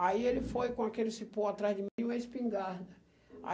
Aí ele foi com aquele cipó atrás de mim e uma espingarda. Aí